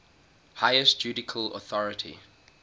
highest judicial authority